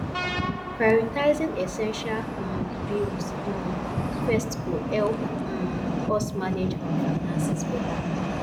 prioritizing essential um bills um first go help um us manage our finances beta